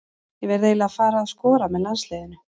Ég verð eiginlega að fara að skora með landsliðinu.